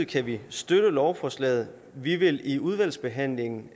kan vi støtte lovforslaget vi vil i udvalgsbehandlingen